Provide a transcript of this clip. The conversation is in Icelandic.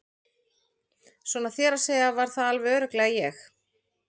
Svona þér að segja var það alveg örugglega ég